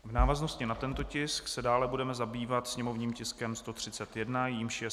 V návaznosti na tento tisk se dále budeme zabývat sněmovním tiskem 131, jímž je